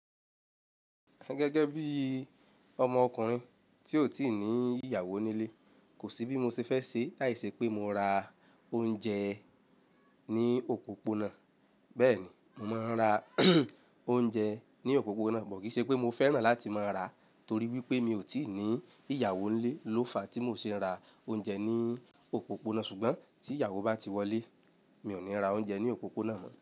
Gẹ́gẹ́ bí ọmọ ọkùnrin tí ó ò tíì ní ìyàwó nílé, kò sí bí mo ṣe fẹ́ ṣe láìṣẹ́ pé mo ra oúnjẹ ní òpópónà. Bẹ́ẹ̀ ni, mo máa ń ra oúnjẹ ní òpópónà, bọ̀ kí í ṣe pé mo fẹ́ràn láti máa ra torí wípé mi ò tíì ní ìyàwó nílé ló fa tí mo ṣe ń ra oúnjẹ ní òpópónà. Ṣùgbọ́n tí ìyàwó bá ti wọlé, mi ò ní ra oúnjẹ ní òpópónà mọ̀.